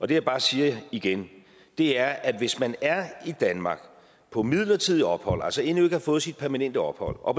det jeg bare siger igen er at hvis man er i danmark på midlertidigt ophold altså endnu ikke har fået sit permanente ophold og